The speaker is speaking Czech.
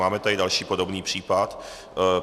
Máme tady další podobný případ.